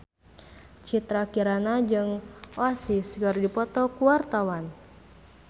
Citra Kirana jeung Oasis keur dipoto ku wartawan